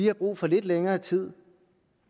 har brug for lidt længere tid